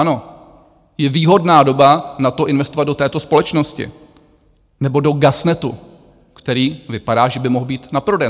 Ano, je výhodná doba na to, investovat do této společnosti nebo do GasNetu, který vypadá, že by mohl být na prodej.